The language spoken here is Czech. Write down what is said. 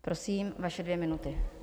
Prosím, vaše dvě minuty.